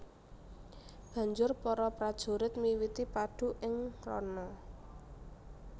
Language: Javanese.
Banjur para prajurit miwiti padu ing rana